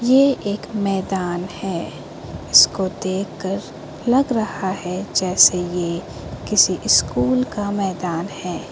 ये एक मैदान है इसको देखकर लग रहा है जैसे ये किसी इस्कूल का मैदान है।